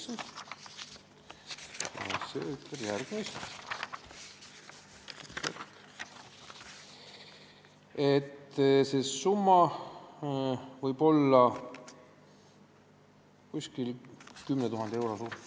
Siin on öeldud järgmist: see summa sõltub täitsa vajadusest ja võib olla umbes 10 000 eurot.